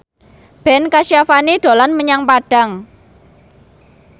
Ben Kasyafani dolan menyang Padang